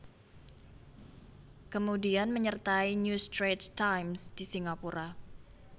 Kemudian menyertai New Straits Times di Singapura